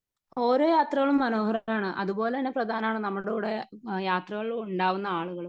Speaker 1 ഓരോ യാത്രകളും മനോഹരങ്ങളാണ് അതുപോലെ തന്നെ പ്രധാനമാണ് നമ്മളുടെ കൂടെ യാത്രകളിൽ ഉണ്ടാകുന്ന ആളുകളും.